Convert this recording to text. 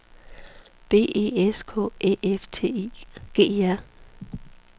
B E S K Æ F T I G E R